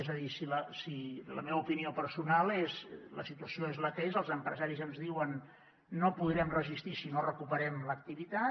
és a dir la meva opinió personal és la situació és la que és els empresaris ens diuen no podrem resistir si no recuperem l’activitat